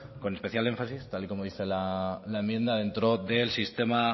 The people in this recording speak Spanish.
con especial énfasis tal y como dice la enmienda dentro del sistema